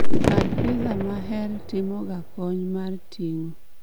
kar piza maher timoga kony mar ting'o